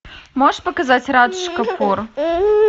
можешь показать радж капур